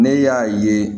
Ne y'a ye